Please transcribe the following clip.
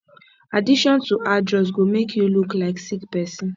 addiction to hard drugs go make you look like sick person